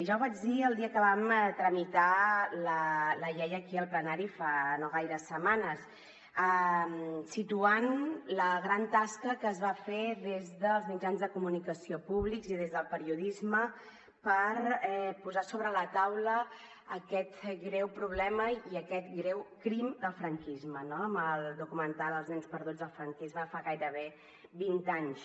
ja ho vaig dir el dia que vam tramitar la llei aquí al plenari fa no gaires setmanes quan vaig situar la gran tasca que es va fer des dels mitjans de comunicació públics i des del periodisme per posar sobre la taula aquest greu problema i aquest greu crim del franquisme no amb el documental els nens perduts del franquisme fa gairebé vint anys